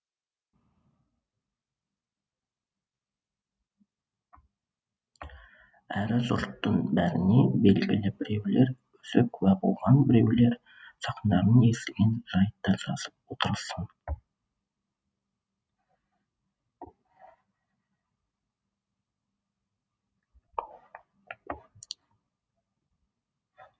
әрі жұрттың бәріне белгілі біреулер өзі куә болған біреулер жақындарының естіген жайтты жазып отырсың